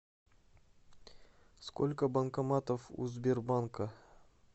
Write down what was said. сколько банкоматов у сбербанка